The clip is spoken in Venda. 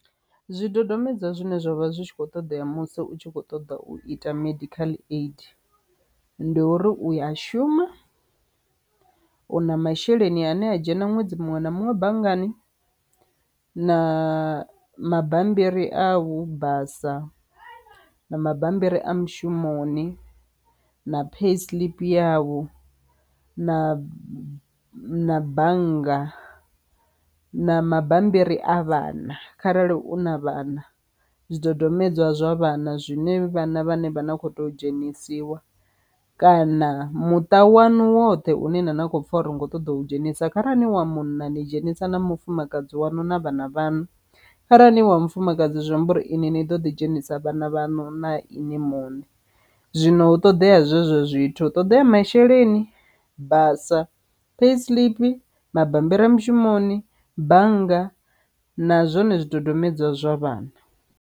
Zwidodombedzwa zwine zwavha zwi tshi kho ṱoḓea musi u tshi kho ṱoḓa u ita medical aid ndi uri u a shuma, u na masheleni ane a dzhena ṅwedzi muṅwe na muṅwe banngani, na mabambiri au basa na mabambiri a mushumoni na pay slip yavho, na na na bannga, na mabambiri a vhana kharali u na vhana, zwidodombedzwa zwa vhana zwine vhana vhane vha na kho to dzhenisiwa kana muṱa wanu woṱhe une na na khou pfha uri ni kho ṱoḓa u dzhenisa. Kharali wa munna ni dzhenisa na mufumakadzi wanu na vhana vhaṋu, kharali ni wa mufumakadzi zwiamba uri ini ni ḓo ḓi dzhenisa vhana vhaṋu na inwi muṋe. zwino hu ṱoḓea zwezwo zwithu hu ṱoḓea masheleni, basa, pay slip, mabambiri a mushumoni, bannga na zwone zwidodombedzwa zwa vhana.